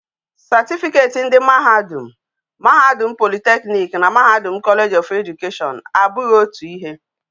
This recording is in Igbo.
Certificate ndi mahadum, mahadum polytechnic na mahadum college of education abughi otu ihe